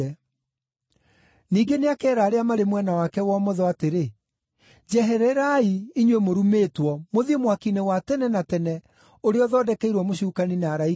“Ningĩ nĩakeera arĩa marĩ mwena wake wa ũmotho atĩrĩ, ‘Njehererai, inyuĩ mũrumĩtwo, mũthiĩ mwaki-inĩ wa tene na tene ũrĩa ũthondekeirwo mũcukani na araika ake.